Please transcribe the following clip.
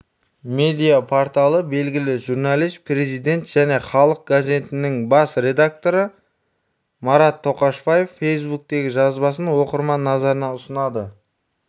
медиа-порталы белігілі журналист президент және халық газетінің бас редакторы марат тоқашбаевтың фейсбуктегі жазбасын оқырман назарына ұсынады